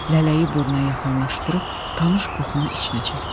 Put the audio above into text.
Lələyi burnuna yaxınlaşdırıb tanış qoxunu içinə çəkdi.